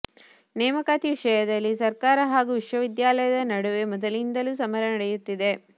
ನೇಮಕಾತಿ ವಿಷಯದಲ್ಲಿ ಸರ್ಕಾರ ಹಾಗೂ ವಿಶ್ವವಿದ್ಯಾಲಯದ ನಡುವೆ ಮೊದಲಿನಿಂದಲೂ ಸಮರ ನಡೆಯುತ್ತಿದೆ